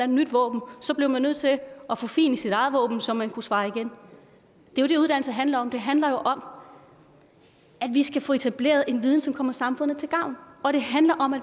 nyt våben blev man nødt til at forfine sit eget våben så man kunne svare igen det er det uddannelse handler om det handler jo om at vi skal få etableret en viden som kommer samfundet til gavn og det handler om at